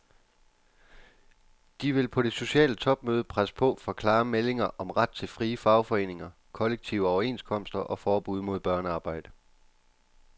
De vil på det sociale topmøde presse på for klare meldinger om ret til frie fagforeninger, kollektive overenskomster og forbud mod børnearbejde.